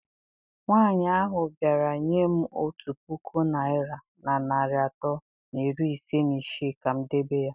Nwanyị ahụ bịara nye m otu puku naịra na narị atọ na iri ise na isii ka m debe ya.